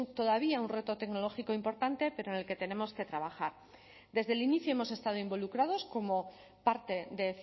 todavía un reto tecnológico importante pero en el que tenemos que trabajar desde el inicio hemos estado involucrados como parte de